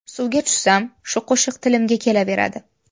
Suvga tushsam, shu qo‘shiq tilimga kelaveradi.